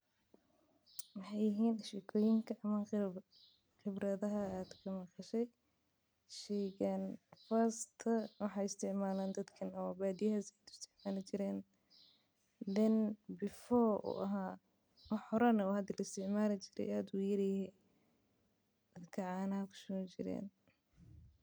Maxee yihin shekoyinka ama qebradoyinka dadka badiyaha aya isticmali jire hada maaha lakin mar fog canaha ayan kushubani jire.